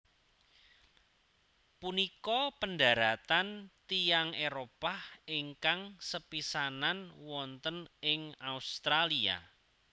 Punika pendaratan tiyang Éropah ingkang sepisanan wonten ing Australia